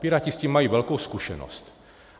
Piráti s tím mají velkou zkušenost.